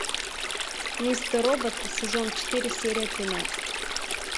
мистер робот сезон четыре серия тринадцать